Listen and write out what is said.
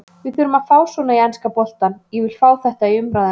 Við þurfum að fá svona í enska boltann, ég vil fá þetta í umræðuna.